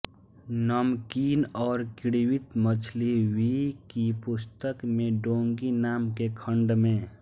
नमकीन और किण्वित मछली वी की पुस्तक में डोंगी नाम के खंड में